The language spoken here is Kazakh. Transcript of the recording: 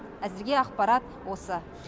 әзірге ақпарат осы